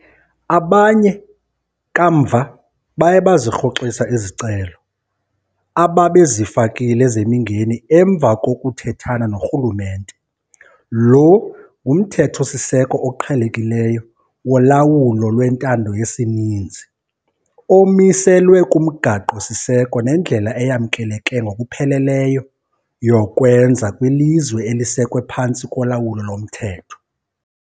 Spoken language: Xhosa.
Abanye kamva baye bazirhoxisa izicelo ababezifakile zemingeni emva kokuthethana norhulumente. Lo ngumthetho-siseko oqhelekileyo wolawulo lwentando yesininzi omiliselwe kumgaqo-siseko nendlela eyamkeleke ngokupheleleyo yokwenza kwilizwe elisekwe phantsi kolawulo lomthetho.